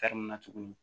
na tuguni